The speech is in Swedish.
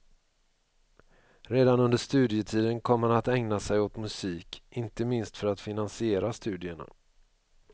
Redan under studietiden kom han att ägna sig åt musik, inte minst för att finansiera studierna.